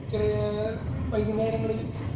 ചിലാ വൈകുന്നേരങ്ങളിൽ